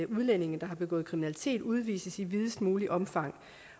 udlændinge der har begået kriminalitet udvises i videst muligt omfang